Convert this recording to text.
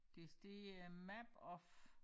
Det det er map of